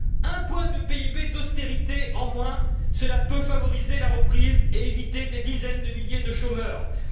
Un point de PIB d'austérité en moins, cela peut favoriser la reprise et éviter des dizaines de milliers de pertes d'emplois.